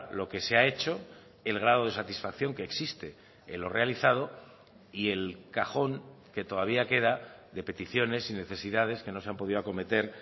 lo que se ha hecho el grado de satisfacción que existe en lo realizado y el cajón que todavía queda de peticiones y necesidades que no se han podido acometer